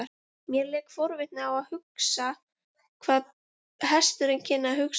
Mér lék forvitni á hvað hesturinn kynni að hugsa um þetta.